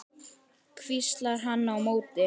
hvíslar hann á móti.